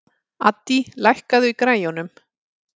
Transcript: Addý, lækkaðu í græjunum.